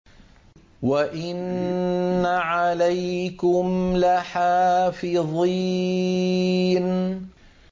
وَإِنَّ عَلَيْكُمْ لَحَافِظِينَ